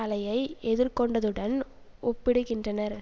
அலையை எதிர்கொண்டதுடன் ஒப்பிடுகின்றனர்